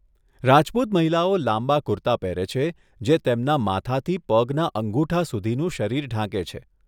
રાજપૂત મહિલાઓ લાંબા કુર્તા પહેરે છે જે તેમના માથાથી પગના અંગુઠા સુધીનું શરીર ઢાંકે છે.